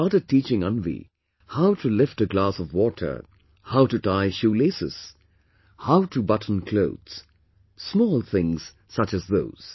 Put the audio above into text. They started teaching Anvi how to lift a glass of water, how to tie shoe laces, how to button clothes; small things such as those